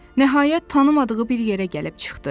Nəhayət tanımadığı bir yerə gəlib çıxdı.